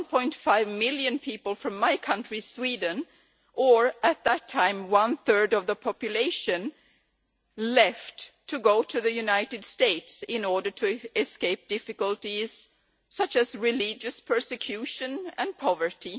1.5 million people from my country, Sweden, or at that time one third of the population, left for the USA in order to escape difficulties such as religious persecution and poverty.